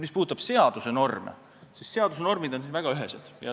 Mis puudutab seaduse norme, siis need on väga ühesed.